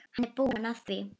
Hann er búinn að því.